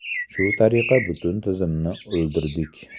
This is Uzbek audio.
Shu tariqa butun tizimni o‘ldirdik.